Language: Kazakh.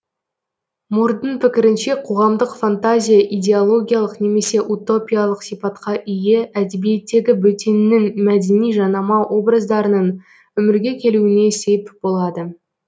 мурдың пікірінше қоғамдық фантазия идеологиялық немесе утопиялық сипатқа ие әдебиеттегі бөттеннің мәдени жанама образдарының өмірге келуіне сеп болады